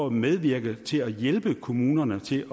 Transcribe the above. at medvirke til at hjælpe kommunerne til